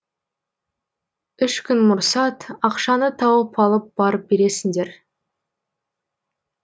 үш күн мұрсат ақшаны тауып алып барып бересіңдер